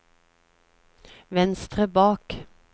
venstre bak